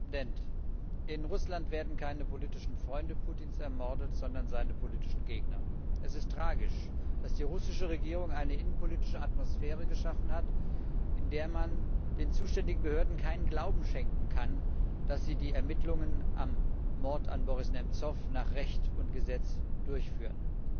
Herr Präsident! In Russland werden keine politischen Freunde Putins ermordet, sondern seine politischen Gegner. Es ist tragisch, dass die russische Regierung eine innenpolitische Atmosphäre geschaffen hat, in der man den zuständigen Behörden keinen Glauben schenken kann, dass sie die Ermittlungen zum Mord an Boris Nemzow nach Recht und Gesetz durchführen.